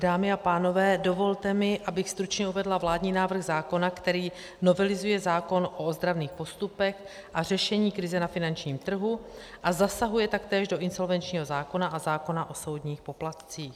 Dámy a pánové, dovolte mi, abych stručně uvedla vládní návrh zákona, který novelizuje zákon o ozdravných postupech a řešení krize na finančním trhu a zasahuje taktéž do insolvenčního zákona a zákona o soudních poplatcích.